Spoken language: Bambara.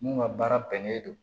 Mun ŋa baara bɛnnen don